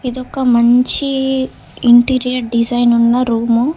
ఇది ఒక మంచీ ఇంటీరియర్ డిజైన్ ఉన్న రూము .